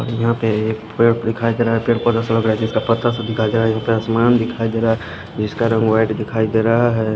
But यहां पे एक पेड़ दिखाई दे रहा है पेड़ पौधा ऐसा लग रहा है जिसका पत्ता सा दिखाई दे रहा है यहां पे आसमान दिखाई दे रहा है जिसका रंग वाइट दिखाई दे रहा है।